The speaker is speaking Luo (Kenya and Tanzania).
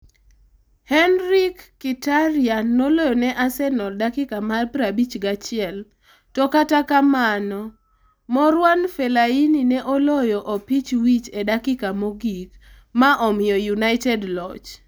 Henrikh Mkhitaryan noloyone Arsenal dakika mar 51 to kata kamano Marouane Fellaini ne oloyo opich wich e dakika mogik ma omiyo United loch